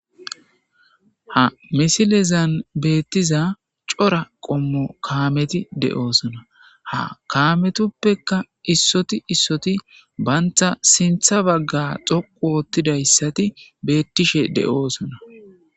Ha misilezan beettiza cora qommo kaameti de'oosona ha kaametoppeka issoti issoti bantha sintha bagga xoqu oottidayssati beettishe de'oosona.